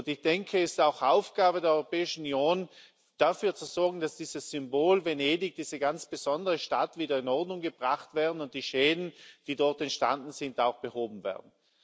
Ich denke, es ist auch Aufgabe der Europäischen Union, dafür zu sorgen, dass dieses Symbol Venedig diese ganz besondere Stadt wieder in Ordnung gebracht wird und die Schäden, die dort entstanden sind, auch behoben werden.